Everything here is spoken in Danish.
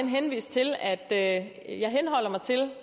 henvise til at jeg henholder mig til